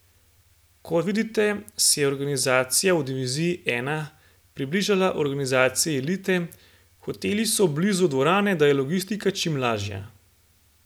Kot vidite, se je organizacija v diviziji I približala organizaciji elite, hoteli so blizu dvorane, da je logistika čim lažja.